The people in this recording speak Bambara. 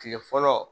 Kile fɔlɔ